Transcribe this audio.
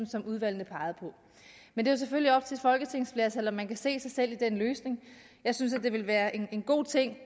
som udvalgene peger på men det er selvfølgelig op til et folketingsflertal om man kan se sig selv i den løsning jeg synes det ville være en god ting